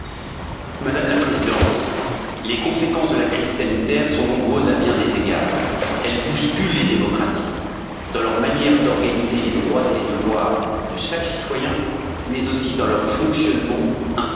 Madame la Présidente, les conséquences de la crise sanitaire sont nombreuses à bien des égards, elles bousculent les démocraties dans leur manière d'organiser les droits et les devoirs de chaque citoyen, mais aussi dans leur fonctionnement interne.